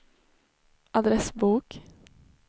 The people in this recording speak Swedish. adressbok